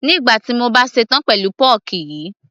nígbà tí mo bá ṣe tán pẹ̀lú pọ́ọ́kì yìí